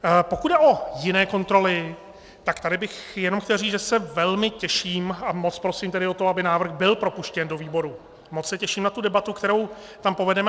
Pokud jde o jiné kontroly, tak tady bych jenom chtěl říct, že se velmi těším, a moc prosím tedy o to, aby návrh byl propuštěn do výboru, moc se těším na tu debatu, kterou tam povedeme.